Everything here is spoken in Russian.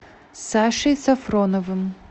сашей сафроновым